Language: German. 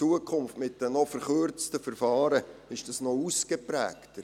Zukünftig ist dies mit den verkürzten Verfahren noch ausgeprägter.